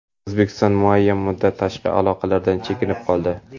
O‘zbekiston muayyan muddat tashqi aloqalardan chekinib qoldi.